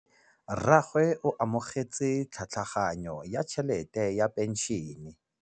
Rragwe o amogetse tlhatlhaganyô ya tšhelête ya phenšene.